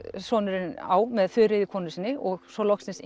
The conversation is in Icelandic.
sonurinn á með Þuríði konu sinni og svo loksins